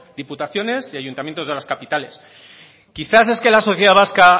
diputaciones y ayuntamientos de las capitales quizás es que la sociedad vasca